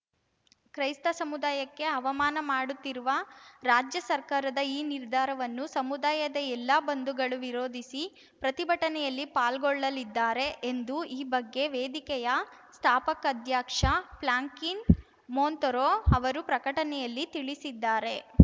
ಕ್ರೈಸ್ತ ಸಮುದಾಯಕ್ಕೆ ಅವಮಾನ ಮಾಡುತ್ತಿರುವ ರಾಜ್ಯ ಸರ್ಕಾರದ ಈ ನಿರ್ಧಾರವನ್ನು ಸಮುದಾಯದ ಎಲ್ಲ ಬಂಧುಗಳು ವಿರೋಧಿಸಿ ಪ್ರತಿಭಟನೆಯಲ್ಲಿ ಪಾಲ್ಗೊಳ್ಳಲಿದ್ದಾರೆ ಎಂದು ಈ ಬಗ್ಗೆ ವೇದಿಕೆಯ ಸ್ಥಾಪಕಾಧ್ಯಕ್ಷ ಫ್ರಾಂಕ್ಲಿನ್‌ ಮೊಂತೊರೊ ಅವರು ಪ್ರಕಟಣೆಯಲ್ಲಿ ತಿಳಿಸಿದ್ದಾರೆ